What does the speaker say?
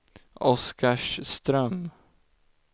Oskarström